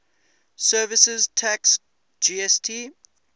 services tax gst